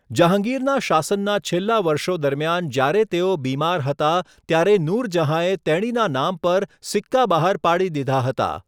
જહાંગીરના શાસનના છેલ્લા વર્ષો દરમિયાન જ્યારે તેઓ બીમાર હતા, ત્યારે નૂરજહાંએ તેણીના નામ પર સિક્કા બહાર પાડી દીધા હતા.